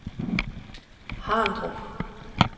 Harndrup